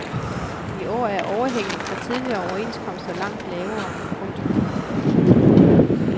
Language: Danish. I år er overhænget fra tidligere overenskomster langt lavere. punktum